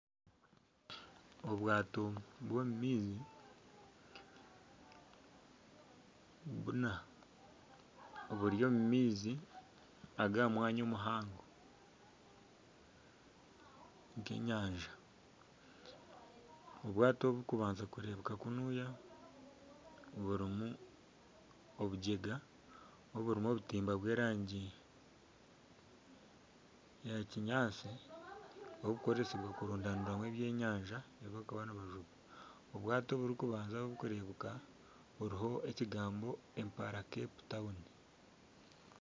Obwaato bw'omu maizi buna oburi omu maizi ag'omwanya muhango g'enyanja, obwaato obu kubanza kureebeka kunuya burimu obutimba bw'erangi ya kinyaatsi oburikukoresibwa kurundaniramu ebyenyanja ebibakuba nibajuba obwaato obw'okubanza obukureebeka buriho ekigambo Impala Cape Town.